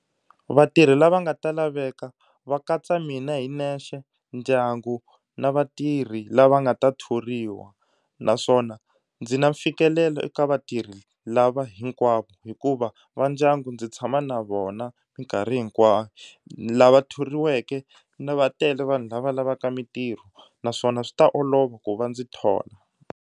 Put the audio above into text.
Vatirhi lava nga ta laveka va katsa mina hi nexe ndyangu na vatirhi lava nga ta thoriwa naswona ndzi na mfikelelo eka vatirhi lava hinkwavo hikuva va ndyangu ndzi tshama na vona mikarhi hinkwayo lava thoriweke na va tele vanhu lava lavaka mitirho naswona swi ta olova ku va ndzi thola.